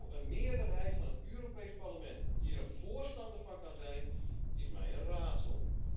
Hoe een meerderheid van het Europees Parlement hier een voorstander van kan zijn, is mij een raadsel.